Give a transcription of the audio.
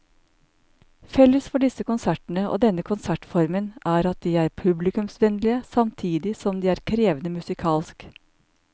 Felles for disse konsertene og denne konsertformen er at de er publikumsvennlige samtidig som de er krevende musikalsk.